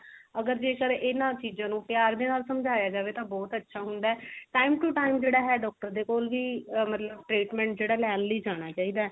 ਅਗਰ ਜੇਕਰ ਇਹਨਾਂ ਚੀਜ਼ਾਂ ਨੂੰ ਪਿਆਰ ਦੇ ਨਾਲ ਸਮਝਾਇਆ ਜਾਵੇਂ ਤਾਂ ਬਹੁਤ ਅਛਾ ਹੁੰਦਾ time to time ਜਿਹੜਾ ਹੈ doctor ਦੇ ਕੋਲ ਵੀ ਮਤਲਬ treatment ਜਿਹੜਾ ਲੇਣ ਲਈ ਜਾਣਾ ਚਹੀਦਾ ਹੈ